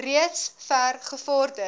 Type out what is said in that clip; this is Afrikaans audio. reeds ver gevorder